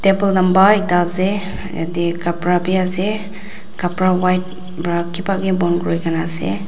amba ekta ase yetey khapra bi ase khapra white pra ki pa bi bon kuri ge na ase.